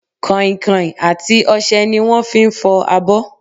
Kàinkàin àti ọsẹ ni wọn fi ń fọ abọ